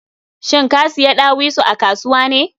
Shin ka siya ɗawisu a kasuwa ne?